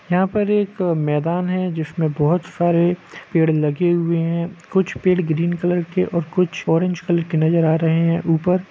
यहाँ पर एक मैदान है जिसमे बहुत सारे पेड़ लगे हुए है कुछ पेड़ ग्रीन कलर के और कुछ ओरेंज कलर के है नजर आ रहे है उपर--